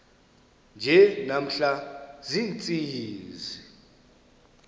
nje namhla ziintsizi